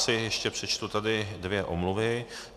Asi ještě přečtu tady dvě omluvy.